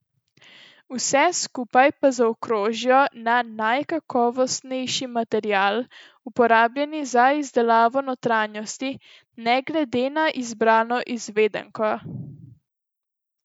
Vse skupaj pa zaokrožijo najkakovostnejši materiali, uporabljeni za izdelavo notranjosti, ne glede na izbrano izvedenko.